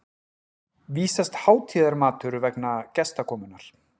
vísast hátíðarmatur vegna gestakomunnar.